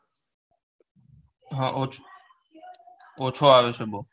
હા ઓછું ઓછું આવે છે બઉ